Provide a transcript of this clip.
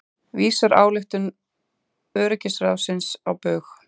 Vísar ályktun öryggisráðsins á bug